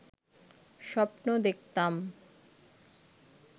স্বপ্ন দেখতাম